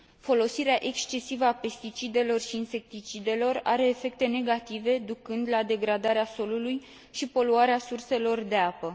Folosirea excesivă a pesticidelor și insecticidelor are efecte negative, ducând la degradarea solului și poluarea surselor de apă.